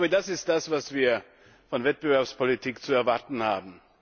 Das ist das, was wir von Wettbewerbspolitik zu erwarten haben.